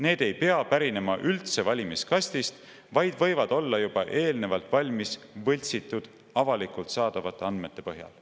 Need ei pea pärinema üldse valimiskastist, vaid võivad olla juba eelnevalt valmis võltsitud avalikult saadavate andmete põhjal.